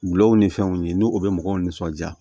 Wulaw ni fɛnw ye n'u u bɛ mɔgɔw nisɔndiya